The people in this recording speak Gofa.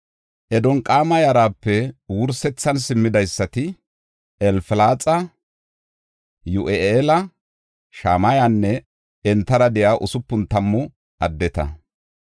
Adonqaama yarape wursethan simmidaysati, Elfalaxa, Yi7u7eela, Shamayanne entara de7iya usupun tammu addeta.